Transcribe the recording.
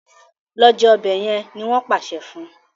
Lọ jé ọbẹ yen! ní wón pàṣẹ fún.